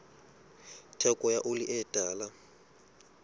theko ya oli e tala